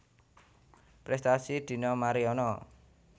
Prestasi Dina Mariana